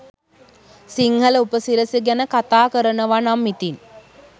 සිංහල උපසිරැසි ගැන කතා කරනවනම් ඉතිං